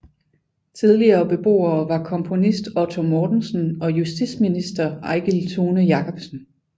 Tidligere beboere var komponist Otto Mortensen og justitsminister Eigil Thune Jacobsen